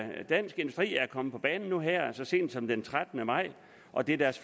dansk industri er kommet på banen nu her så sent som den trettende maj og det er deres